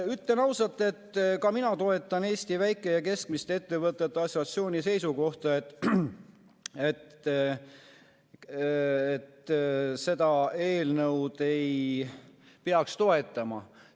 Ütlen ausalt, et ka mina toetan Eesti Väike‑ ja Keskmiste Ettevõtjate Assotsiatsiooni seisukohta, et seda eelnõu ei peaks toetama.